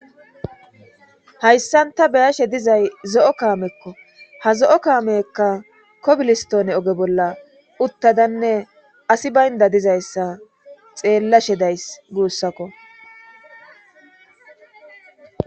hayssan ta beyashe dizay zo'o kaamekko ha zo'o kaamekka kobilistone oge bolla uttadanne asi baynda dizayssa xeellashe days guussakko